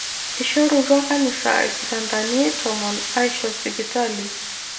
eishorutua kanisa irkitandani tomon aisho sipitali.